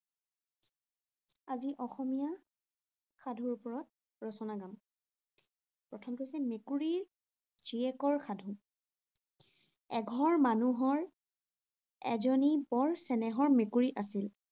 আজি অসমীয়া সাধুৰ ওপৰত ৰচনা গাম। প্ৰথমটো হৈছে মেকুৰীৰ জীয়েকৰ সাধু। এঘৰ মানুহৰ এজনী বৰ চেনেহৰ মেকুৰী আছিল।